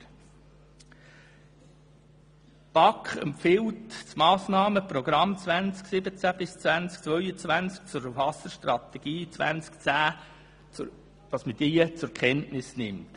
Die BaK empfiehlt Ihnen, das Massnahmenprogramm 2017í2022 zur Wasserstrategie 2010 zur Kenntnis zu nehmen.